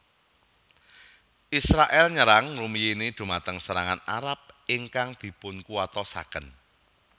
Israèl nyerang ngrumiyini dhumateng serangan Arab ingkang dipunkuwatosaken